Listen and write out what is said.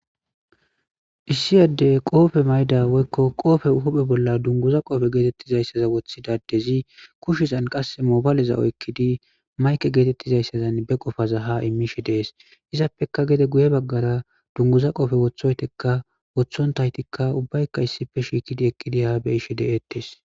issiy adde qoofe mayda woykko qoofe huphe bolla dunguza qoofe geetettizayssaza woththidadezi kushizan qass moobaleza oykkidi mayke geetettizayssazan be qofaza ha imishe dees izappeka gede guye baggara dunguza qofe wothoytekka wothon taytikka ubbaykka issife shiikidi ekkidi haa be ishe de7ettes